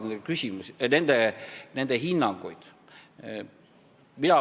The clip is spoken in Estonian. Mina usaldan nende hinnanguid.